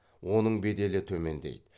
оның беделі төмендейді